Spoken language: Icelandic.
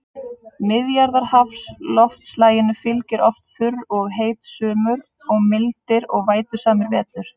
Miðjarðarhafsloftslaginu fylgja oft þurr og heit sumur og mildir og vætusamir vetur.